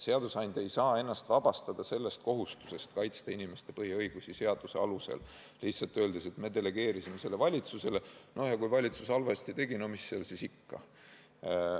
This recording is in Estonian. Seadusandja ei saa ennast vabastada kohustusest kaitsta inimeste põhiõigusi seaduse alusel, öeldes lihtsalt nii, et me delegeerisime selle valitsusele ja, noh, kui valitsus halvasti tegi, mis seal siis ikka.